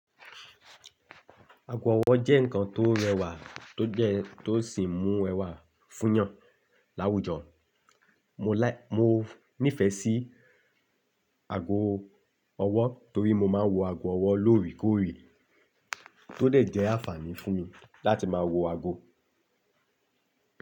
Ágò ọwọ́ jẹ́ nǹkan tó rẹwà tó jẹ tó sì mú ẹwà fún yàn láwùjọ. Mo láì-- mo nífẹ̀ẹ́ sí ágó ọwọ́ toórí mó máa ń wọ ágò ọwọ́ lórèkórè, tó dà jẹ́ àǹfààní fún mi láti máa wọ ágò.